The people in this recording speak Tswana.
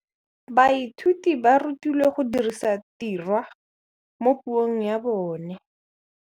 Baithuti ba rutilwe go dirisa tirwa mo puong ya bone.